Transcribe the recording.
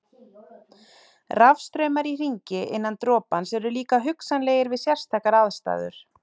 Rafstraumar í hringi innan dropans eru líka hugsanlegir við sérstakar aðstæður.